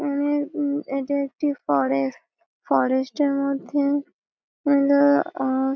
উম উম এটা একটি ফরেস্ট । ফরেস্ট -এর মধ্যে ।